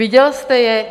Viděl jste je?